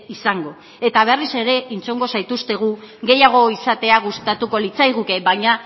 izango eta berriz ere entzungo zaituztegu gehiago izatea gustatuko litzaiguke baina